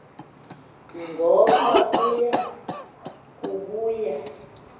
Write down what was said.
ngoba uya kubuya